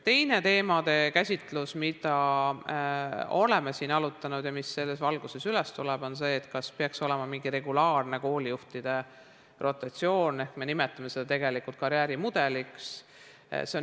Teine teema, mida oleme siin arutanud ja mis selles valguses üles tõuseb, on see, kas peaks olema mingi regulaarne koolijuhtide rotatsioon, mida me nimetame tegelikult karjäärimudeliks.